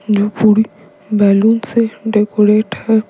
जो पूरी बैलून से डेकोरेट है।